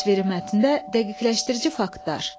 Təsviri mətndə dəqiqləşdirici faktlar.